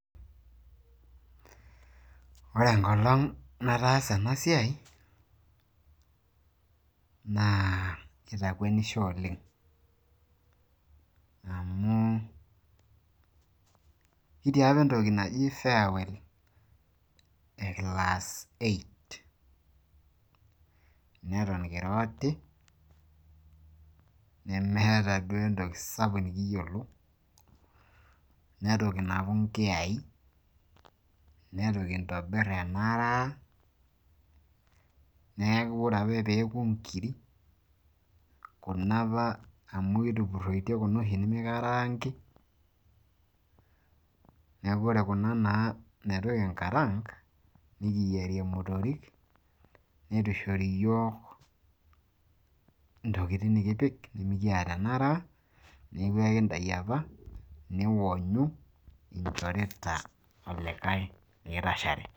Ore enkolong nataasa ena siai, naa kitakwenisho oleng amu kitii apa entoki naji farewell e class eight. Neton kira oti nemeeta duo entoki sapuk nikiyiolo nitu kinapu nkiyai, nitu kintobirr enaraa. Niaku ore ake pee eku nkirik kuna apa, amu kitupuroitie kuna oshi nimikaraangi, niaku ore kuna naa neitu kinkaraank nikiyierie imotorik neitu ishori iyiok ntokinik nikipik nimikiata enaraa niaku ekintayu apa niwonyu inchorita olikae likitashare.